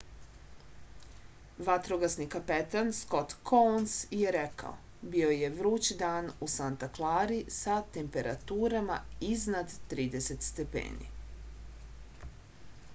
vatrogasni kapetan skot kouns je rekao bio je vruć dan u santa klari sa temperaturama iznad 30 stepeni